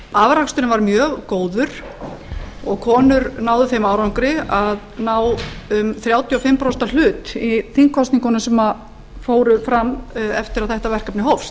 afraksturinn var mjög góður og konur náðu þeim árangri að ná um þrjátíu og fimm prósenta hlut í þingkosningunum sem fóru fram eftir að þetta verkefni hófst